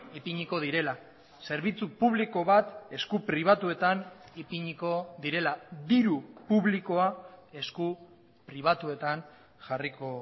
ipiniko direla zerbitzu publiko bat esku pribatuetan ipiniko direla diru publikoa esku pribatuetan jarriko